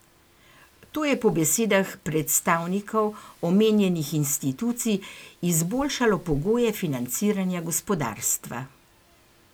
To je po besedah predstavnikov omenjenih institucij izboljšalo pogoje financiranja gospodarstva.